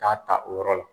K'a ta o yɔrɔ la